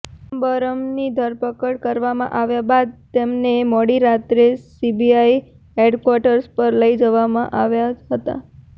ચિદમ્બરમની ધરપકડ કરવામાં આવ્યા બાદ તેમને મોડી રાત્રે સીબીઆઇ હેડક્વાર્ટર પર લઇ જવામાં આવ્યા હતા